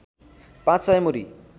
पाँच सय मुरी